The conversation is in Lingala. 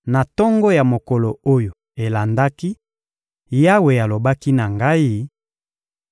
Na tongo ya mokolo oyo elandaki, Yawe alobaki na ngai: